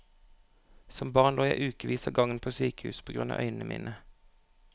Som barn lå jeg i ukevis av gangen på sykehus på grunn av øynene mine.